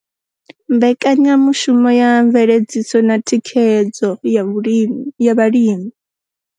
Mbekanya mushumo ya Mveledziso na Thikhedzo ya Vhalimi.